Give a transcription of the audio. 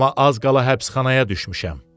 Amma az qala həbsxanaya düşmüşəm.